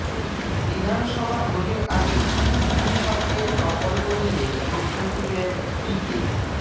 বিধানসভা ভোটের আগে দুই স্বপ্নের প্রকল্প নিয়ে প্রশ্ন তুললেন পিকে